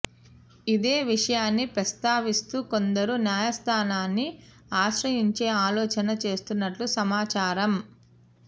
ఇదే విషయాన్ని ప్రస్తావిస్తూ కొందరు న్యాయస్థానాన్ని ఆశ్రయించే ఆలోచన చేస్తున్నట్టు సమాచారం